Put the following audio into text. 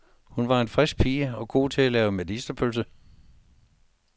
Hun var en frisk pige og god til at lave medisterpølse.